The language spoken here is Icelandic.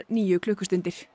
níu klukkustundir